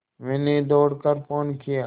मैंने दौड़ कर फ़ोन किया